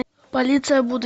полиция будущего